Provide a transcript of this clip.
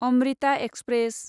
Amrita express